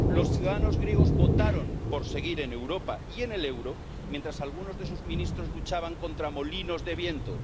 Los ciudadanos griegos votaron por seguir en Europa y en el euro, mientras algunos de sus ministros luchaban contra molinos de viento.